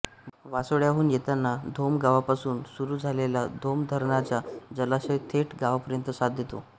वासोळ्याहून येताना धोम गावापासून सुरू झालेला धोम धरणाचा जलाशय थेट गावापर्यंत साथ देतो